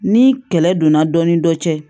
Ni kɛlɛ donna dɔ ni dɔ cɛ